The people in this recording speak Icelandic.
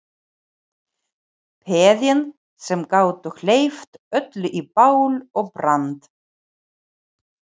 Peðin sem gátu hleypt öllu í bál og brand.